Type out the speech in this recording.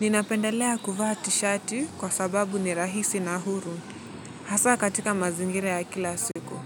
Ninapendelea kuvaa tshati kwa sababu ni rahisi na huru, hasa katika mazingira ya kila siku.